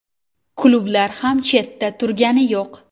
Klublar ham chetda turgani yo‘q.